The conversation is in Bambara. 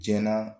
Jɛna